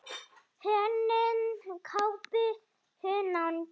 Hönnun kápu: Hunang.